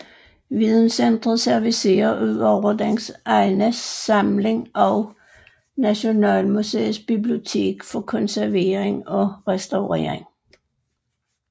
Videncenteret servicerer ud over dens egen samling også Nationalmuseets Bibliotek for konservering og restaurering